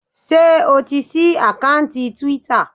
Ṣé o ti ṣí àkántì Twitter?